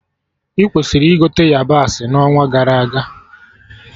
Ị kwesịrị ịgote yabasị na onwa gara aga